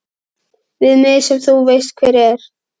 Við mig sem þú veist hver er.